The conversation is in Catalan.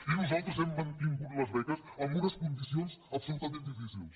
i nosaltres hem mantingut les beques amb unes condicions absolutament difícils